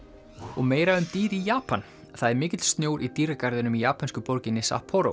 og meira um dýr í Japan það er mikill snjór í dýragarðinum í japönsku borginni